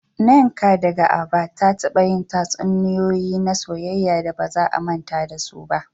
Nneka, daga Aba, ta taba yin tatsuniyoyi na soyayya da ba za a manta da su ba.